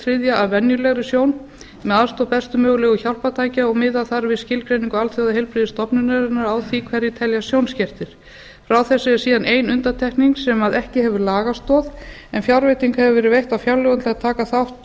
þriðja af venjulegri sjón með aðstoð bestu mögulegu hjálpartækja og miða þar við skilgreiningu alþjóðaheilbrigðisstofnunarinnar hverjir teljast sjónskertir frá þessu er síðan ein undantekning sem ekki hefur lagastoð en fjárveiting hefur verið veitt á fjárlögum til að taka þátt